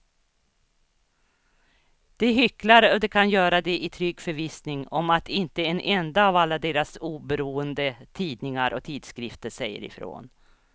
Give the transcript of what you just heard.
De hycklar och de kan göra det i trygg förvissning om att inte en enda av alla deras oberoende tidningar och tidskrifter säger ifrån.